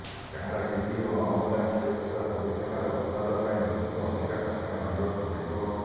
car TV ଓ ଆମଦାନି ହେଉଥିବା ସବୁ ପ୍ରକାର ଉତ୍ପାଦ ପାଇଁ ଲୋକମାନଙ୍କୁ ଅଧିକ ଟଙ୍କା ଗଣିବାକୁ ପଡ଼ିବ